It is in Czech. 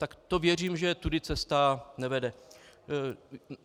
Tak to věřím, že tudy cesta nevede.